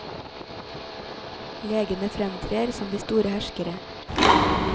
Legene fremtrer som de store herskere.